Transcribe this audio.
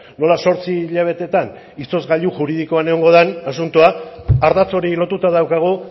nola zortzi hilabetetan izozgailu juridikoan egongo den asuntoa ardatz hori lotuta daukagu